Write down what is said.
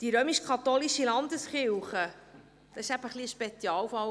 Die römisch-katholische Landeskirche war eben ein Spezialfall.